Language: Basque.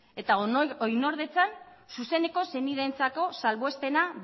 eta oinordetzan zuzeneko senideentzako salbuespena